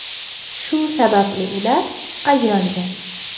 Shu sababli ular ajralgan.